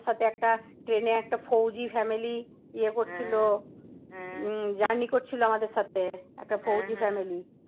আমাদের সাথে একটা, ট্রেন এ একটা ফৌজি family ইয়ে করছিল। উম journey করছিল আমাদের সাথে। একটা ফৌজি family